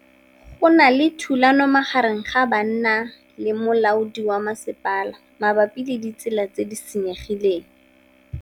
Go na le thulanô magareng ga banna le molaodi wa masepala mabapi le ditsela tse di senyegileng.